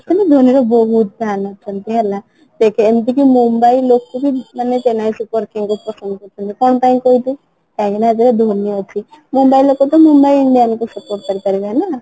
actually Dhoni ର ବହୁତ fan ଅଛନ୍ତି ହେଲା ଦେଖେ ଏମିତି କି mumbai ଲୋକ ବି ମାନେ chennai super kings କୁ ପସନ୍ଦ କରୁଛନ୍ତି କ'ଣ ପାଇଁ କହୁଛି କାହିଁକିନା ଏଥିରେ ଧୋନି ଅଛି mumbai ଲୋକ ତ mumbai indians କୁ support କରିପାରିବେ ନା